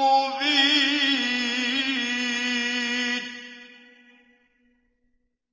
مُّبِينٌ